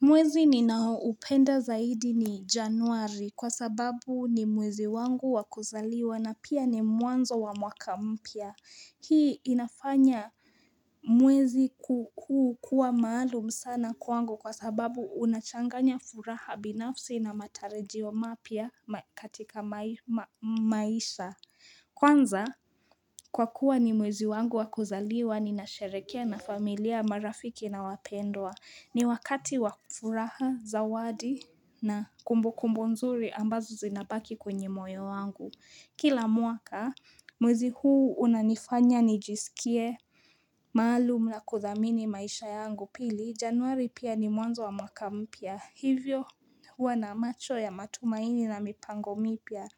Mwezi ninaoupenda zaidi ni januari kwa sababu ni mwezi wangu wakuzaliwa na pia ni mwanzo wa mwaka mpya. Hii inafanya mwezi kuwa maalum sana kwangu kwa sababu unachanganya furaha binafsi na matarajio mapya katika maisha. Kwanza kwa kuwa ni mwezi wangu wakuzaliwa ni nasherehekea na familia marafiki na wapendwa. Ni wakati wakufuraha, zawadi na kumbu kumbu nzuri ambazo zinabaki kwenye moyo wangu. Kila mwaka, mwezi huu unanifanya nijisikie maalum na kuthamini maisha yangu pili. Januari pia ni mwanzo wa makampya. Hivyo huwa na macho ya matumaini na mipango mipya.